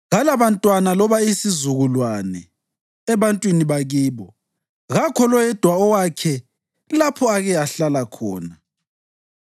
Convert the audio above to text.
Kalabantwana loba isizukulwane ebantwini bakibo, kakho loyedwa owakhe lapho ake ahlala khona.